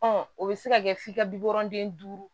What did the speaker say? o bɛ se ka kɛ f'i ka bi wɔɔrɔnden duuru